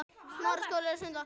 Vertu sæll kæri vinur.